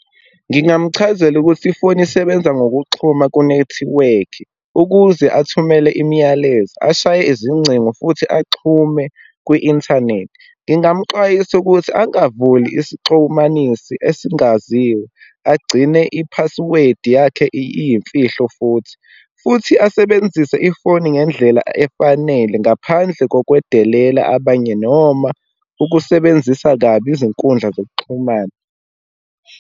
Ngingamchazela ukuthi ifoni isebenza ngokuxhuma kunethiwekhi, ukuze athumele imiyalezo, ashaye izingcingo, futhi axhume kwi-inthanethi. Ngingamxwayisa ukuthi angavuli isixumanisi esingaziwa, agcine i-password yakhe iyimfihlo futhi, futhi asebenzise ifoni ngendlela efanele, ngaphandle kokwedelela abanye noma ukusebenzisa kabi izinkundla zokuxhumana.